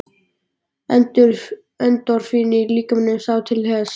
Endorfínið í líkamanum sá til þess.